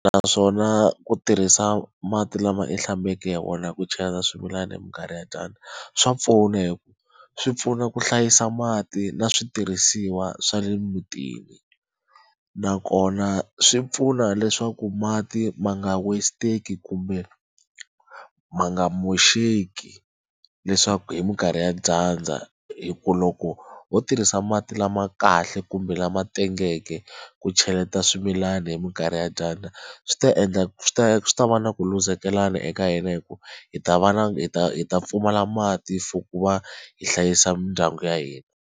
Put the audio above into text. Naswona ku tirhisa mati lama u hlambele hi wona ku cheleta swimilana hi minkarhi ya dyandza swa pfuna hi ku swi pfuna ku hlayisa mati na switirhisiwa swa le mutini nakona swi pfuna leswaku mati ma nga westeki kumbe ma nga moxeki leswaku hi minkarhi ya dyandza hi ku loko ho tirhisa mati lama kahle kumbe lama tengeke ku cheleta swimilana hi minkarhi ya dyandza swi ta endla swi ta swi ta va na ku luzekelana eka hina hikuva hi ta va na hi ta hi ta pfumala mati for ku va hi hlayisa mindyangu ya hina.